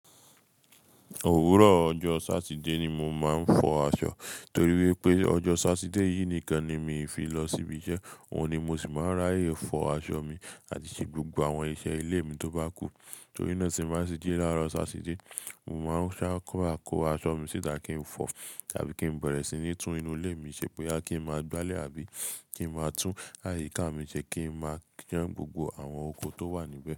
Òwúrọ̀ ọjọ́ Sátidé ni mo máa ń fọ aṣọ, torí wípé ọjọ́ Sátidé yìí nìkan ni mi fi lọ síbi iṣẹ́, òun ni mo sì máa ń ráyè fọ aṣọ mi àti ṣe gbogbo àwọn iṣẹ́ ilé mi tó bá kù. Torí náà tí n bá tì jí láàárọ̀ Sátidé, mo máa ń sá kọ́ra kó aṣọ mi síta kí n fọ tàbí kí n bẹ̀rẹ̀ sí ní tún inú ilé mi ṣe, boya kí n máa gbálẹ̀ àbí kí n máa tún àyíká mi ṣe kí n máa san gbogbo àwọn oko tó wà níbẹ̀.